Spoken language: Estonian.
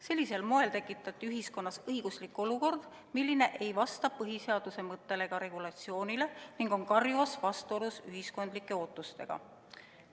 Sellisel moel tekitati ühiskonnas õiguslik olukord, mis ei vasta põhiseaduse mõttele ega regulatsioonile ning on karjuvas vastuolus ühiskonna ootustega.